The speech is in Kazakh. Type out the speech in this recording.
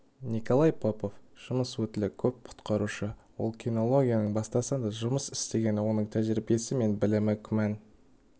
николай попов жұмыс өтілі көп құтқарушы ол кинологияның бастасанда жұмыс істеген оның тәжірибесі мен білімі күмән